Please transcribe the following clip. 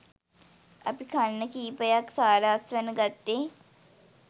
අපි කන්න කීපයක් සාර අස්වැන්න ගත්තෙ